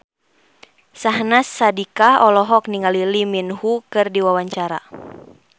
Syahnaz Sadiqah olohok ningali Lee Min Ho keur diwawancara